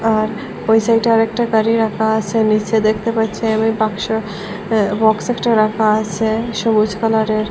আর ওই সাইডে আরেকটা গাড়ি রাখা আছে নীচে দেখতে পাচ্ছি আমি বাক্স আঃ বক্স একটা রাখা আছে সবুজ কালারের।